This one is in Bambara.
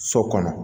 So kɔnɔ